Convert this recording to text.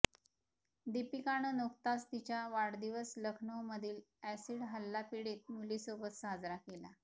दीपिकानं नुकताच तिचा वाढदिवस लखनऊमधील अॅसिड हल्ला पिडीत मुलींसोबत साजरा केला